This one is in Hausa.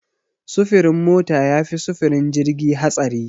Sufurin mota yafi sufurin jirgi hatsari.